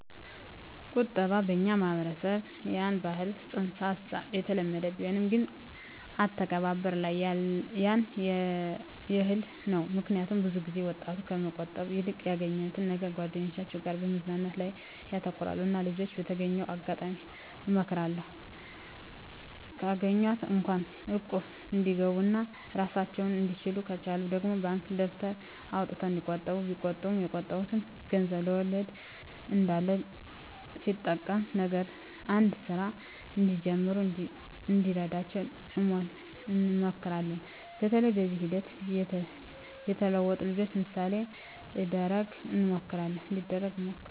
ቁጠባ በኛ ማህበረሰብ ያን የህል ፅንስ ሀሳቡ የተለመደ ቢሆንም ግን አተገባበር ላይ ያን የህል ነው ምክኒያቱም ብዙ ጊዜ ወጣቱ ከመቆጠብ ይልቅ ያገኛትን ነገር ከጓደኞቻቸው ጋር መዝናናት ላይ ያተኩራሉ እና ልጅች በተገኘው አጋጣሚ እመክራለሁ ካገኟት እንኳ እቁብ እንዲገቡ ኦና እራሳቸውን እንድችሉ ከቻሉ ደግሞ ባንክ ደብተር አውጥተው እንዲቆጥቡ ቢቆጥቡ የቆጠቡት ገንዘብ ወለድ እንዳለው ሲጠሬቀም ነገ አንድ ስራ እንዲጀምሩ እንደሚረዳቸው እንመክራለን በተለይ በዚህ ሂደት የተለወጡ ልጅችን ምሳሌ እደረግ እንመክራለን።